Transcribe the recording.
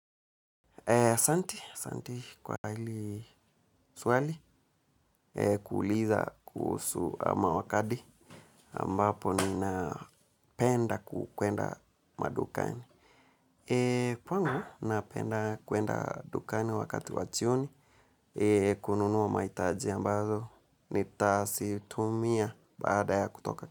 Asanti asanti kwa hili swali kuuliza kuhusu ama wakati ambapo ninapenda kuenda madukani. Kwangu na penda kwenda dukani wakati wa jioni kununua mahitaji ambazo ni tasitumia baada ya kutoka.